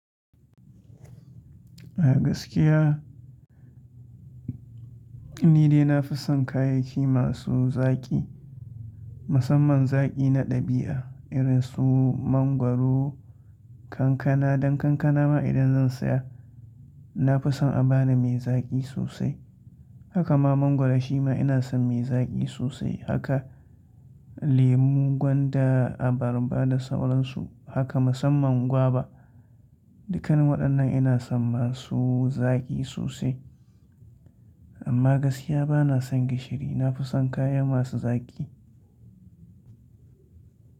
A gaskiya ni dai na fi son kayayyaki masu zaƙi, musamman zaƙi na ɗabi'a irin su mangwaro, kankana. Dan kankana ma idan zan saya, na fi son a bani mai zaƙi sosai. Haka ma mangwaro shima ina son mai zaƙi sosai. Haka lemu, gwanda, abarba da sauran su. Haka musamman gwaba. Dukkan waɗannan ina son masu zaƙi sosai. Amma gaskiya ba na son gishiri. Na fi son kaya masu zaƙi.